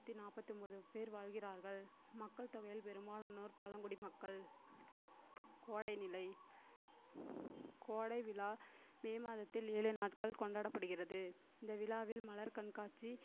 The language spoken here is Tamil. நாற்பத்து ஒன்பது வாழ்கிறார்கள் மக்கள் தொகையில் பெரும்பாலானோர் பழங்குடி மக்கள் கோடை நிலை கோடை விழா மே மாதத்தில் ஏழு நாட்கள் கொண்டாடப்படுகிறது இந்த விழாவில் மலர் கண்காட்சி